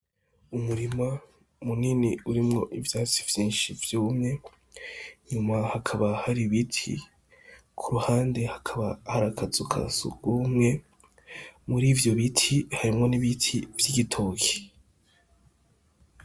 Umurima munini urimwo ivyatsi vyinshi vyumwe nyuma hakaba hari ibiti ku ruhande hakaba harakazuka sugumwe muri ivyo biti harimwo n'ibiti vy'igitoki.